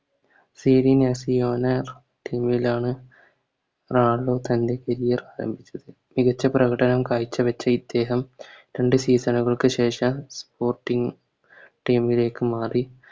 കീഴിലാണ് റൊണാൾഡോ തൻറെ Career ആരംഭിച്ചത് മികച്ച പ്രകടനം കായ്ച്ചവെച്ച ഇദ്ദേഹം രണ്ട് Season കൾക്ക് ശേഷം Sporting team ലേക്ക് മാറി